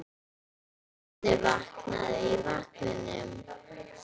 Barnið vaknaði í vagninum.